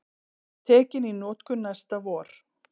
Tekin í notkun næsta vor